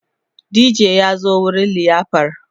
DJ ya zo wurin liyafar